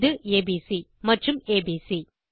இது ஏபிசி மற்றும் ஏபிசி